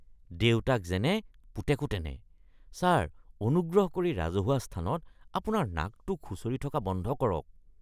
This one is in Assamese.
দেউতাক যেনে, পুতেকো তেনে। ছাৰ, অনুগ্ৰহ কৰি ৰাজহুৱা স্থানত আপোনাৰ নাকটো খুঁচৰি থকা বন্ধ কৰক।